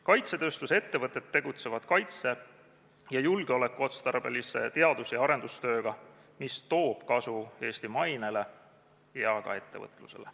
Kaitsetööstuse ettevõtted tegelevad kaitse- ja julgeolekuotstarbelise teadus- ja arendustööga, mis toob kasu Eesti mainele ja ka ettevõtlusele.